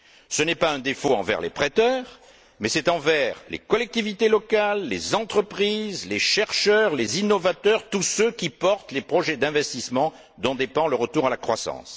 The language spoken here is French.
Ce n'est pas un défaut envers les prêteurs mais envers les collectivités locales, les entreprises, les chercheurs, les innovateurs, tous ceux qui portent les projets d'investissement, dont dépend le retour à la croissance.